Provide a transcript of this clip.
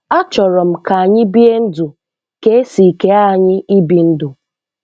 A chọrọ m ka anyị bie ndụ ka esi kee anyị ibi ndụ.